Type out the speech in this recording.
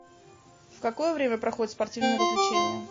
в какое время проходят спортивные развлечения